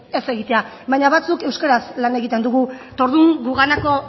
ez egitea baina batzuk euskaraz lan egiten dugu eta orduan guganako